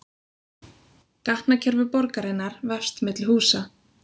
Gatnakerfi borgarinnar vefst milli húsa